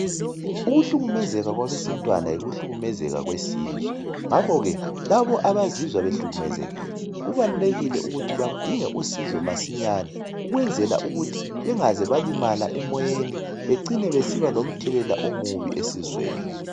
Ukuhlukumezeka kwabesintwana yikuhlukumezeka kwesizwe ngakhoke labo abazizwa behlukumezekile kubalulekile ukuthi badinge usizo masinyane ukwenzela ukuthi bengeze balimala emoyen becine besiba lomthelela omubi esizweni